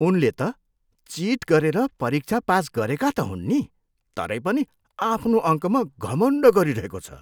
उनले त चिट गरेर परीक्षा पास गरेका त हुन् नि, तरै पनि आफ्नो अङ्कमा घमण्ड गरिरहेको छ।